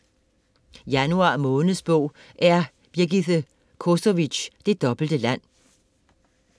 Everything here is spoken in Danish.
Januar måneds bog er Birgithe Kosovics Det dobbelte land.